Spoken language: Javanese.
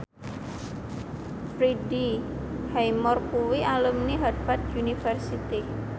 Freddie Highmore kuwi alumni Harvard university